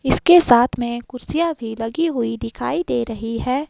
इसके साथ में कुर्सियां भी लगी हुई दिखाई दे रही है।